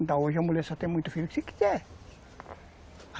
Então hoje a mulher só tem muito filho que se quiser.